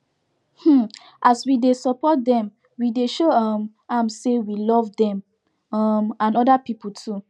um as we dey support them we dey show um am say we love them um and other people too